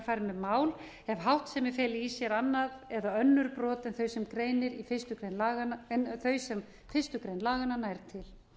með mál ef háttsemi feli í sér annað eða önnur brot en þau sem fyrstu grein laganna nær til